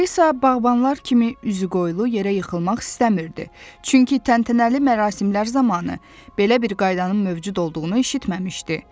Alisa bağbanlar kimi üzü qoyulu yerə yıxılmaq istəmirdi, çünki təntənəli mərasimlər zamanı belə bir qaydanın mövcud olduğunu eşitməmişdi.